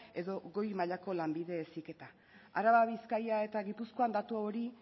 edo goi mailako lanbide heziketa araba bizkaia eta gipuzkoan datu hori